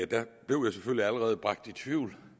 blev allerede bragt i tvivl